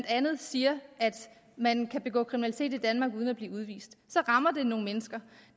siger at man kan begå kriminalitet i danmark uden at blive udvist så rammer det nogle mennesker